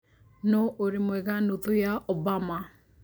nũ ũrĩ mwega nũthũ ya Obama